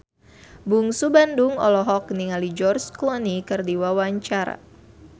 Bungsu Bandung olohok ningali George Clooney keur diwawancara